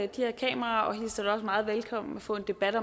de her kameraer og hilser det meget velkommen at få en debat